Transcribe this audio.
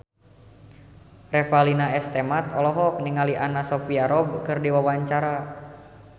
Revalina S. Temat olohok ningali Anna Sophia Robb keur diwawancara